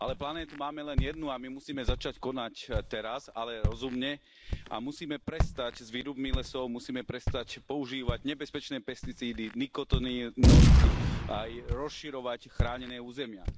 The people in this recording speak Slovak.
Ale planétu máme len jednu a my musíme začať konať teraz, ale rozumne, a musíme prestať s výrubmi lesov, musíme prestať používať nebezpečné pesticídy, nikotinoidy, aj rozširovať chránené územia.